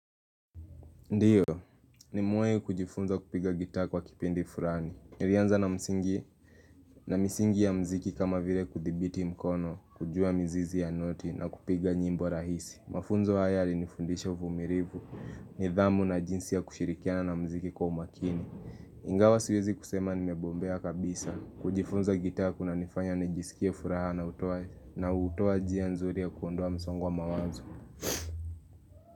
Ndiyo, nimewahi kujifunza kupiga gitaa kwa kipindi fulani. Nilianza na msingi na misingi ya mziki kama vile kuthibiti mkono, kujua mizizi ya noti na kupiga nyimbo rahisi. Mafunzo haya yalinifundisha uvumilivu, nidhamu na jinsi ya kushirikiana na muziki kwa umakini. Ingawa siwezi kusema nimebombea kabisa. Kujifunza gitaa kunanifanya nijisikia furaha na hutoa na hutoa jia nzuri ya kuondoa msongo wa mawanzo.